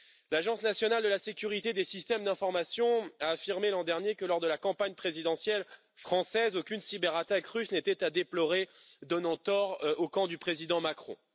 L'Agence nationale de la sécurité des systèmes d'information a affirmé l'an dernier que lors de la campagne présidentielle française, aucune cyberattaque russe n'était à déplorer, donnant tort au camp du président Macron.